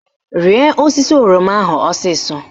Rịa osisi oroma ahụ ọsịsọ!